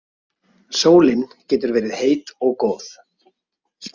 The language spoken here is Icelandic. Sólin getur verið heit og góð.